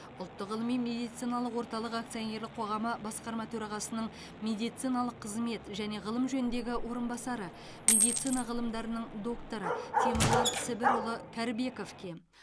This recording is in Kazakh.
ұлттық ғылыми медициналық орталығы акционерлік қоғамы басқарма төрағасының медициналық қызмет және ғылым жөніндегі орынбасары медицина ғылымдарының докторы темірлан сібірұлы кәрібековке